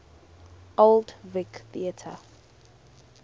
old vic theatre